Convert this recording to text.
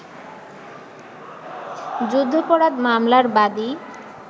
যুদ্ধাপরাধ মামলার বাদী